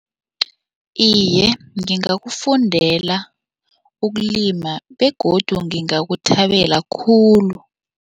Iye, ngingakufundela ukulima begodu ngingakuthabela khulu.